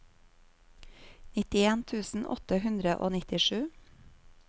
nittien tusen åtte hundre og nittisju